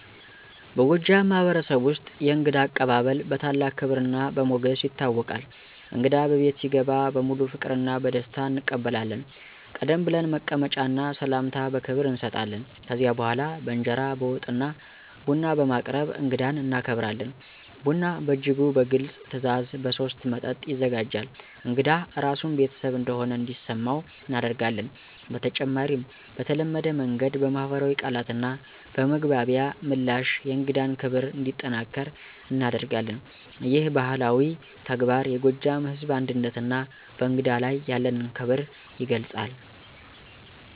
በጎጃም ማህበረሰብ ውስጥ የእንግዳ አቀባበል በታላቅ ክብርና በሞገስ ይታወቃል። እንግዳ በቤት ሲገባ በሙሉ ፍቅርና በደስታ እንቀበላለን፣ ቀደም ብለን መቀመጫ እና ሰላምታ በክብር እንሰጣለን። ከዚያ በኋላ በእንጀራ፣ በወጥ እና ቡና በማቅረብ እንግዳን እናከብራለን። ቡና በእጅጉ በግልጽ ትዕዛዝ በሶስት መጠጥ ይዘጋጃል፣ እንግዳ ራሱን ቤተሰብ እንደሆነ እንዲሰመው እናደርጋለን። በተጨማሪም በተለመደ መንገድ በማኅበራዊ ቃላትና በመግባቢያ ምላሽ የእንግዳን ክብር እንዲጠናከር እናደርጋለን። ይህ ባህላዊ ተግባር የጎጃም ሕዝብ አንድነትና በእንግዳ ላይ ያለንን ክብር ይገልጻል።